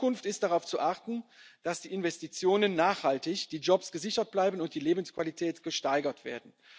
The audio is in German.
war und ist. In Zukunft ist darauf zu achten, dass die Investitionen nachhaltig, die Jobs gesichert bleiben und die Lebensqualität